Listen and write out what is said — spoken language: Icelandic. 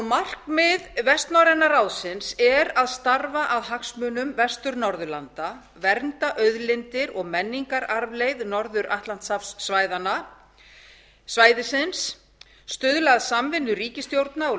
markmið vestnorræna ráðsins er að starfa að hagsmunum vestur norðurlanda vernda auðlindir og menningararfleifð norður atlantshafssvæðisins stuðla að samvinnu ríkisstjórna og